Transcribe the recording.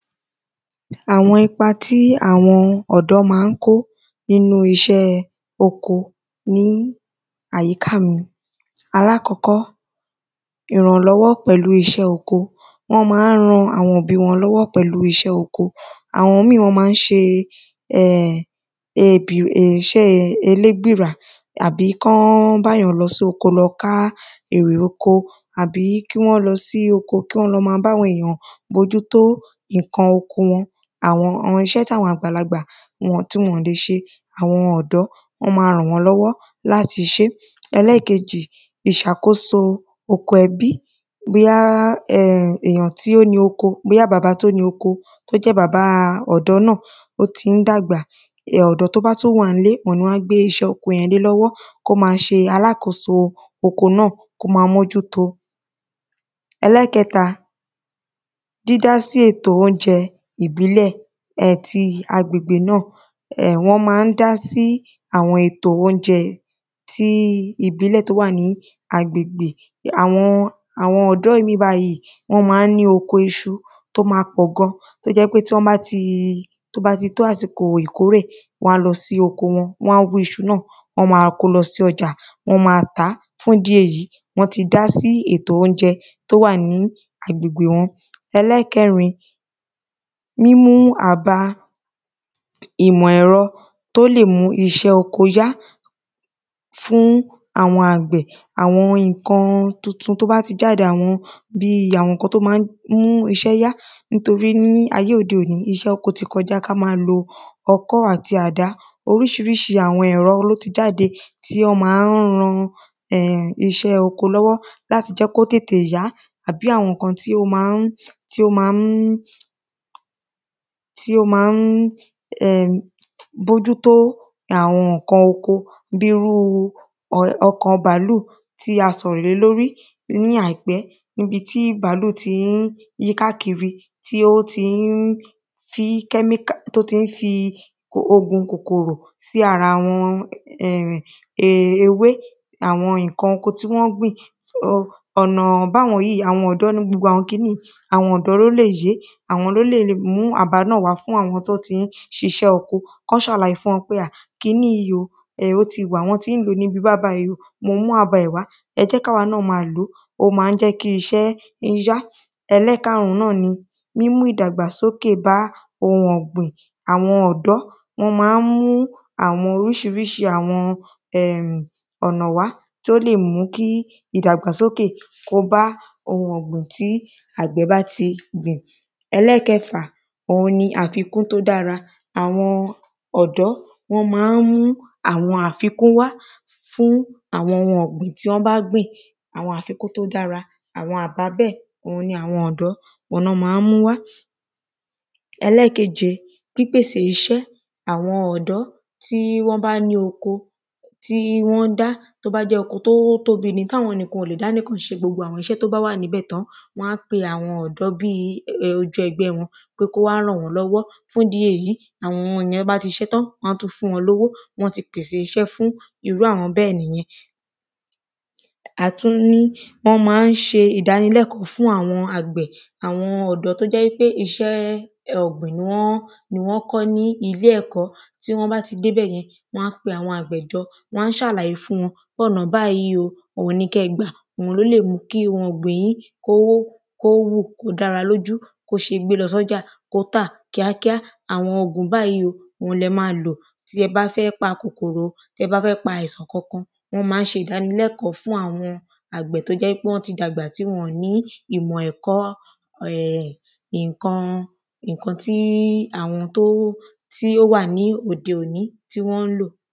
Àwọn ipa tí ọ̀dọ́ má ń kó nínú iṣẹ́ oko ní àyíká mi alákọ́kọ́ ìrànlọ́wọ́ pẹ̀lú iṣẹ́ oko wọ́n má ń ran àwọn òbí wọn lọ́wọ́ pẹ̀lú iṣẹ́ oko àwọn míì wọ́n má ń ṣe um iṣẹ́ ẹlébìrà àbí kán bá yàn lọ sóko lọ ká èrè oko wọn àbí kí wọ́n lọ sí oko kí wọ́n má lọ bá àwọn èyàn mójútó nǹkan oko wọn àwọn iṣẹ́ tí àwọn àgbàlagbà tí wọn lè ṣe àwọn ọ̀dọ́ wọ́n má ràn wọ́n lọ́wọ́ láti ṣe ìṣàkóso oko ẹbí bóyá èyàn tí ó ni oko bóyá baba tó ni oko ó jẹ́ bàbá ọ̀dọ́ náà ọ̀dọ́ tó bá tún wà ńlé ni wọ́n á tún gbé iṣẹ́ oko lé lọ́wọ́ kó má ṣe alákoso oko náà kó má mójútó. Ẹlẹ́ẹ̀kẹta dídí sí ètò óúnjẹ ìbílẹ̀ àti agbègbè náà um wọ́n má ń dá sí àwọn ètò óúnjẹ ti ìbílẹ̀ tó wà ní agbègbè àwọn àwọn ọ̀dọ́ mí bájìí wọ́n má ń ní oko iṣu tó má pọ̀ gan tó jẹ́ pé tí wọ́n bá ti tó bá ti tó àsìkò ìkórè wọ́n á lọ sí oko wọn wọ́n á hú iṣu náà wọ́n á kó lọ sí ọjà wọ́n má tàá fún ìdí èyí wọ́n ti dá sí ètò óúnjẹ tó wà ní agbègbè mi. Ẹlẹ́ẹ̀kẹrin mímú àba ìmọ̀ ẹ̀rọ tó lè mú iṣẹ́ oko yá fún àwọn àgbẹ̀ àwọn nǹkan tuntun tó bá ti jáde bí àwọn nǹkan tó má ń mú iṣẹ́ yá nítorí ní ayé òde òní iṣẹ́ oko ti kọjá kí á má lo ọkọ́ àti àdá oríṣiríṣi àwọn ẹ̀rọ ló má ń jáde tí ó má ń ra um iṣé oko lọ́wó láti le jẹ́ kó tètè yá àbí àwọn nǹkan tí ó má ń tí ó má ń bójútó àwọn nǹkan oko bí irú ọkọ̀ bàálù tí a sọ̀rọ̀ lé lórí ní àìpẹ́ tí bàálù tí ń yí káàkiri tí ó tí ń tí kẹ́mìkà tí ó tí ń ogun kòkòrò tí ara ewé àwọn nǹkan oko tí wọ́n gbìn ọ̀nà báwọn nǹkan yìí àwọn ọ̀dọ́ ló lè yé àwọn ló lè mú àbá náà wá fún àwọn tó ń ṣiṣẹ́ oko kán ṣàlàyé fún wọn pé kiní yìí o ó ti wà wọ́n tí ń lòó ní ibi báyìí báyìí o mo mú àbá ẹ̀ wá ẹ jẹ́ káwa náà lò ó má ń mú iṣẹ́ yá. Ẹlẹ́ẹ̀karùn náà ni mímú ìdàgbà sókè bá ohun ọ̀gbìn àwọn ọ̀dọ́ wọ́n má ń mú àwọn oríṣiríṣi um ọ̀nà wá tí ó lè mú kí ìdàgbàsókè tó bá ohun ọ̀gbìn tí àgbẹ̀ bá ti gbìn. Ẹlẹ́ẹ̀kẹfà òhun ni àfikún tó dára àwọn ọ̀dọ́ wọ́n má ń mú àwọn àfikún wá fún àwọn ohun ọ̀gbìn tí wọ́n bá gbìn àwọn àfikún tí ó dára àwọn àbá bẹ́ẹ̀ òhun ni àwọn ọ̀dọ́ òhun ni wọ́n má ń mú wá Ẹlẹ́ẹ̀kẹje òhun ni pípèsè iṣẹ́ àwọn ọ̀dọ́ tí wọ́n bá ní oko tí wọ́n ń dá tó bá jẹ́ pé oko tó tóbi ni táwọn nìkan ò lè dá níkàn ṣe iṣẹ́ tó wà níbẹ̀ tán wọ́n á pe àwọn ọ̀dọ́ bí ọjọ́ ẹgbẹ́ wọn kó wá ràn wọ́n lọ́wọ́ fún ìdí èyí àwọn yẹn tán bá ti ṣetán wọ́n á fún wọn lówó wọ́n ti pèsè iṣẹ́ fún àwọn bẹ́ẹ̀ nìyẹn. a tún ní wọ́n má ń ṣe ìdánilẹ́ẹ̀kọ́ fún àwọn àgbẹ̀ àwọn ọ̀dọ́ tó jẹ́ pé iṣẹ́ ọ̀gbìn ni wọ́n ni wọ́n kọ́ ní ní ilé ẹ̀kọ́ tí wọ́n bá ti débẹ̀yẹn wọ́n á pe àwọn àgbẹ̀ jọ wọ́n á ṣàlàyé fún wọn òhun ni kẹ́ gbà òhun ló lè mú kí ohun ọ̀gbìn yín kó kó hù kó dára lójú kó ṣe gbé lọ sọ́jà kó tà kíákíá àwọn òògùn báyìí ni ẹ má lò tí ẹ bá fẹ́ pa kòkòrò tí ẹ bá fẹ́ pa àìsàn kankan wọ́n má ń ṣe ìdánilẹ́kọ̀ọ́ fún àwọn àgbẹ̀ tó ti dàgbà tí wọn ò ní ìmọ̀ ẹ̀kọ́ nǹkan nǹkan tí àwọn tó tí ó wà ní òde òní tí wọ́n ń lò.